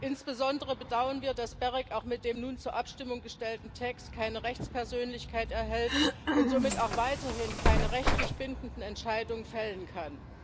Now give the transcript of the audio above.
Insbesondere bedauern wir, dass das GEREK auch mit dem nun zur Abstimmung gestellten Text keine Rechtspersönlichkeit erhält und somit auch weiterhin keine rechtlich bindenden Entscheidungen fällen kann.